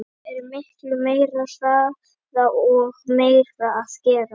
Það er miklu meiri hraði og meira að gera.